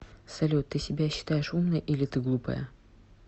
салют ты себя считаешь умной или ты глупая